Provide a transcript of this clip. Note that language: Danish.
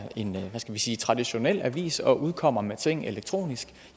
en hvad skal vi sige traditionel avis og udkommer med ting elektronisk